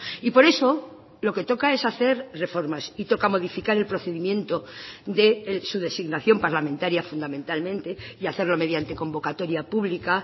y por eso lo que toca es hacer reformas y toca modificar el procedimiento de su designación parlamentaria fundamentalmente y hacerlo mediante convocatoria pública